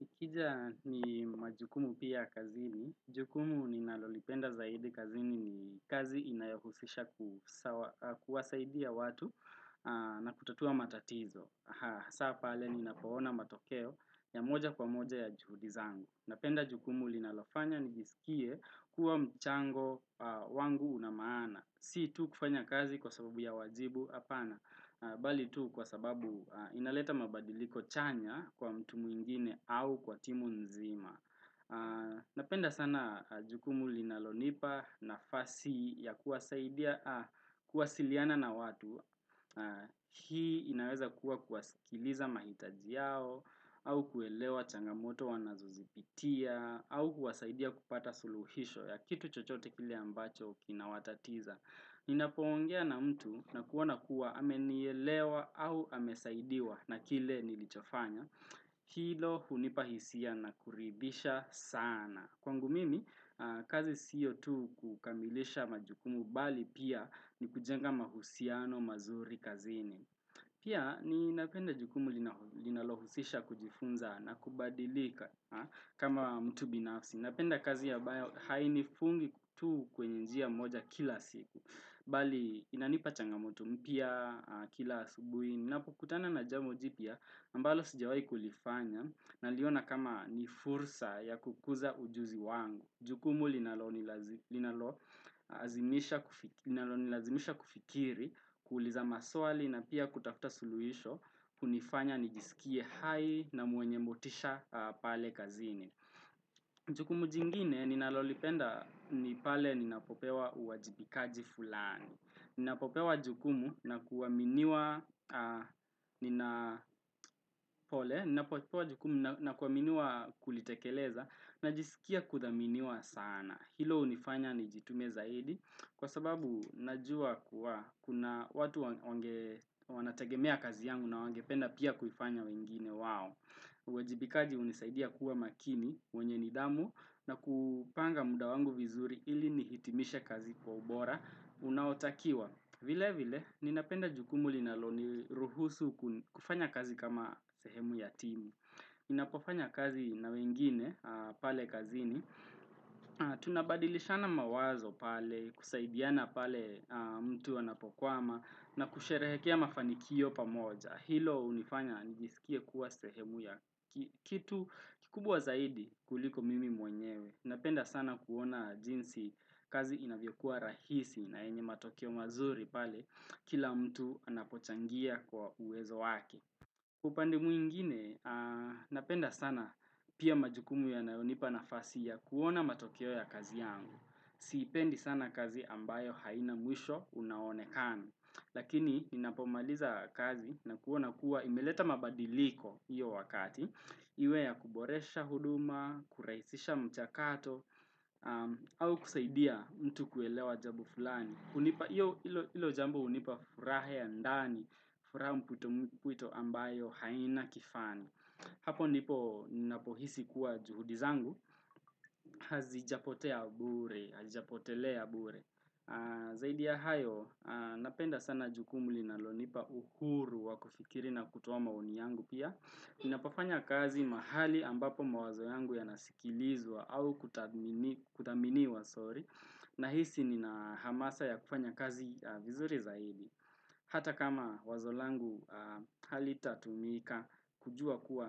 Nikija ni majukumu pia kazini. Jukumu ninalolipenda zaidi kazini ni kazi inayohusisha kuwasaidia watu na kutatua matatizo. Hasa pale ni napoona matokeo ya moja kwa moja ya juhudizangu. Napenda jukumu linalofanya nijisikie kuwa mchango wangu unamaana. Si tu kufanya kazi kwa sababu ya wajibu apana, bali tu kwa sababu inaleta mabadiliko chanya kwa mtu muingine au kwa timu nzima. Napenda sana jukumu linalonipa na fasi ya kuwasaidia kuwasiliana na watu. Hii inaweza kuwa kuwasikiliza mahitajiao au kuelewa changamoto wanazozipitia au kuwasaidia kupata suluhisho ya kitu chochote kile ambacho kina watatiza. Ni napoongea na mtu na kuona kuwa ameniyelewa au amesaidiwa na kile nilichofanya kilo hunipahisia na kuridhisha sana Kwangu mimi, kazi siyo tu kukamilisha majukumu bali pia ni kujenga mahusiano mazuri kazini Pia ni napenda jukumu linalohusisha kujifunza na kubadilika kama mtu binafsi Napenda kazi ambayo hainifungi tu kwenye njia moja kila siku Bali inanipa changamoto mpya kila asubuhi. Ninapokutana na jambo jipya ambalo sijawai kulifanya na liona kama ni fursa ya kukuza ujuzi wangu. Jukumu linalo nilazimisha kufikiri kuuliza maswali na pia kutakuta suluhisho hunifanya nijisikie hai na muenye motisha pale kazini. Jukumu jingine ninalolipenda ni pale ninapopewa uwajibikaji fulani. Ninapopewa jukumu na kuaminiwa kulitekeleza na jisikia kuthaminiwa sana. Hilo unifanya ni jitume zaidi kwa sababu najua kuwa kuna watu wanategemea kazi yangu na wangependa pia kufanya wengine wao. Uwajibikaji unisaidia kuwa makini mwenye nidhamu na kupanga muda wangu vizuri ili nihitimishe kazi kwa ubora unaotakiwa. Vile vile ninapenda jukumuli na loniruhusu kufanya kazi kama sehemu yatimu. Napofanya kazi na wengine pale kazini, tunabadilishana mawazo pale, kusaidiana pale mtu wanapokwama na kusherehekea mafanikio pamoja. Hilo unifanya nijisikie kuwa sehemu ya kitu kikubwa zaidi kuliko mimi mwenyewe. Napenda sana kuona jinsi kazi inavyokuwa rahisi na yenye matokeo mazuri pale kila mtu anapochangia kwa uwezo wake. Kwa upande muingine, napenda sana pia majukumu ya nayonipa na fasi ya kuona matokeo ya kazi yangu. Sipendi sana kazi ambayo haina mwisho unao onekana Lakini, ninapomaliza kazi na kuona kuwa imeleta mabadiliko iyo wakati. Iwe ya kuboresha huduma, kuraisisha mchakato, au kusaidia mtu kuelewa jambo fulani. Ilo jambo unipa furaha ya ndani, furaha mkwito ambayo haina kifani. Hapo ndipo ninapohisi kuwa juhudizangu, hazi japotea bure, hazi japotelea bure. Zaidi ya hayo, napenda sana jukumuli na lo nipa uhuru wakufikiri na kutuo maoni yangu pia. Ninapofanya kazi mahali ambapo mawazo yangu ya nasikilizwa au kuthaminiwa sori. Na hisi nina hamasa ya kufanya kazi vizuri zaidi. Hata kama wazolangu halita tumika kujua kuwa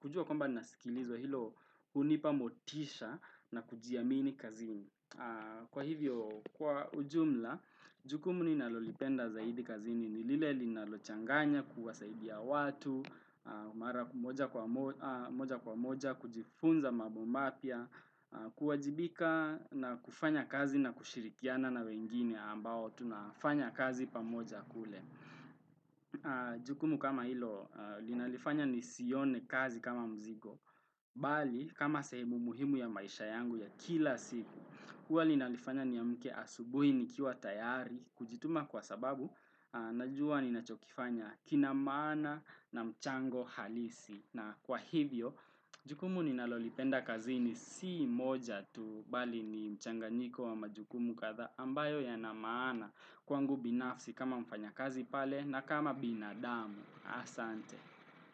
kujua kwamba nasikilizwa hilo unipamotisha na kujiamini kazini. Kwa hivyo, kwa ujumla, jukumuni nalolipenda zaidi kazini ni lileli nalochanganya kuwasaidia watu, Mara kumoja kwa moja, kujifunza mabombapia kuwajibika na kufanya kazi na kushirikiana na wengine ambao tunafanya kazi pamoja kule Jukumu kama ilo, linalifanya ni sione kazi kama mzigo Bali, kama sehemu muhimu ya maisha yangu ya kila siku Kwa linalifanya ni ya mke asubuhi ni kiwa tayari kujituma kwa sababu, najua ni nachokifanya kinamana na mchango na kwa hivyo, jukumu ninalolipenda kazi ni si moja tu bali ni mchanganyiko wa majukumu kadha ambayo yanamaana kwangu binafsi kama mfanya kazi pale na kama binadamu. Asante.